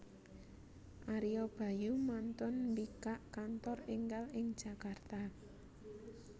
Ario Bayu mantun mbikak kantor enggal ing Jakarta